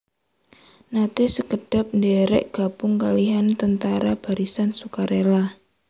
Naté sekedhap ndhèrèk gabung kalihan Tentara Barisan Sukarela